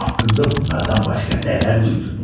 Haqqımda bunlardan başqa nələr duydunuz?